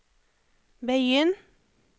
begynn